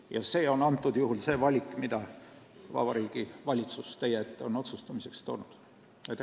Ja nüüd on teie ees see valik, mille kohta Vabariigi Valitsus palub teil otsuse langetada.